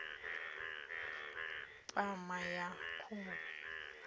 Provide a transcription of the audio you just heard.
u funesa pama ya khuhu